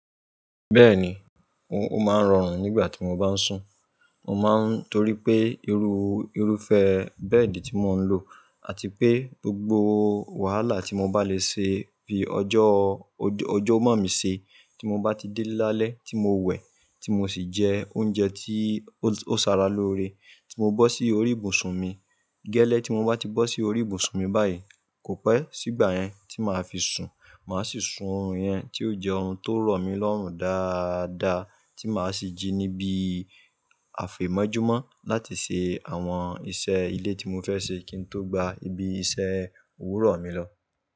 Bẹ́ẹ̀ni, o máa ń rọrùn nígbà tí mo bá ń sùn. Mo má ń torí pé ìrú, ìrúfẹ́ bẹ́ẹ̀dì tí mò ń lò àti pé gbogbo wàhálà tí mo bá lè ṣe bí ọjọ́, ọjọ́ mọ́ mi ṣe tí mo bá ti dé lálẹ́ tí mo wẹ̀, tí mo sì jẹ oúnjẹ tí ó, ó ṣàrà lóore, tí mo bọ́ sí orí ìbùsùn mi. Gẹ́lẹ́ tí mo bá ti bọ́ sí orí ìbùsùn mi báyìí, kò pẹ́ sígbà yẹn tí màá fi sùn. Màá sì sun ọ̀run yẹn tí ó jẹ́ orun tó rọ̀ mí lọ́rùn dáadáa tí màá sì jí níbí àfẹ́mọ́júmọ́ láti ṣe àwọn iṣẹ́ ilé tí mo fẹ́ ṣe kí n tó gba ibi iṣẹ́ òwúrọ̀ mi lọ.